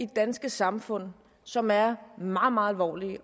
danske samfund som er meget meget alvorlige